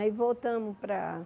Aí voltamos para